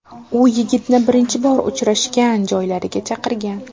U yigitni birinchi bor uchrashgan joylariga chaqirgan.